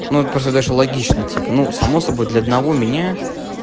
ну просто даже логично типа ну само собой для одного меня